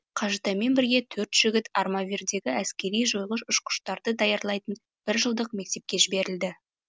қажытаймен бірге төрт жігіт армавирдегі әскери жойғыш ұшқыштарды даярлайтын бір жылдық мектепке жіберілді